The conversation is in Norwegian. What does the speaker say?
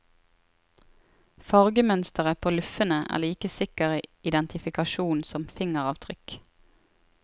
Fargemønsteret på luffene er like sikker identifikasjon som fingeravtrykk.